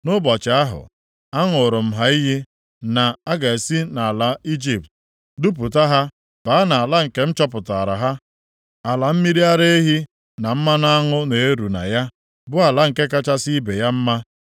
Nʼụbọchị ahụ, aṅụụrụ m ha iyi na m ga-esi nʼala Ijipt dupụta ha baa nʼala nke m chọpụtara ha, ala mmiri ara ehi na mmanụ aṅụ na-eru na ya, bụ ala nke kachasị ibe ya mma.